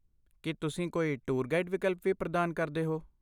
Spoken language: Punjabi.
ਕੀ ਤੁਸੀਂ ਕੋਈ ਟੂਰ ਗਾਈਡ ਵਿਕਲਪ ਵੀ ਪ੍ਰਦਾਨ ਕਰਦੇ ਹੋ?